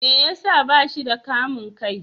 Me ya sa ba shi da kamun kai?